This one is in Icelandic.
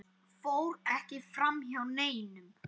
fór ekki framhjá neinum.